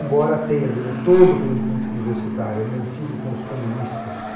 Embora tenha, durante todo o período político universitário, mantido com os comunistas